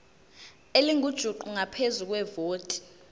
elingujuqu ngaphezu kwevoti